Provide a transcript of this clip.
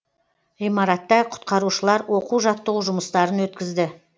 ғимаратта құтқарушылар оқу жаттығу жұмыстарын өткізді